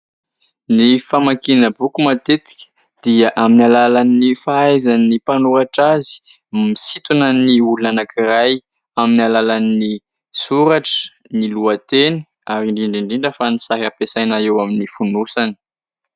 Ny famakiana boky matetika dia amin'ny alalan'ny fahaizan'ny mpanoratra azy misintona ny olona anankiray amin'ny alalan'ny soratra, ny lohateny ary indrindra indrindra fa ny sary ampiasaina eo amin'ny fonosany.